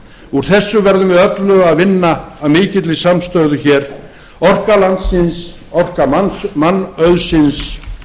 úr þessu verðum við öll að vinna af mikilli samstöðu hér orka landsins orka mannauðsins